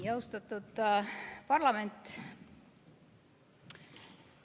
Austatud parlament!